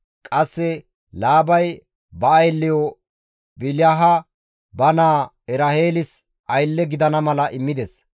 Qasse Laabay ba aylleyo Biliha ba naa Eraheelis aylle gidana mala immides.